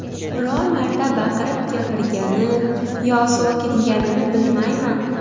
Biror marta baqirib gapirgani yo so‘kinganini bilmayman.